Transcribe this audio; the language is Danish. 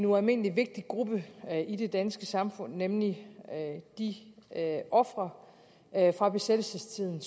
ualmindelig vigtig gruppe i det danske samfund nemlig de ofre fra besættelsestiden